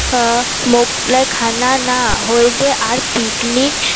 মোগলাই খানা না হইলে আর পিকনিক